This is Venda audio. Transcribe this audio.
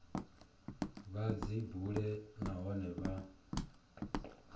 vha dzi bule nahone vha